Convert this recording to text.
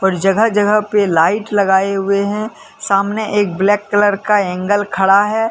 और जगह जगह पे लाइट लगाए हुए हैं सामने एक ब्लैक कलर का एंगल खड़ा है।